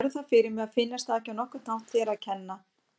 Lögreglan stóð ráðþrota.